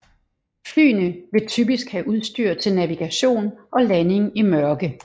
Flyene vil typisk have udstyr til navigation og landing i mørke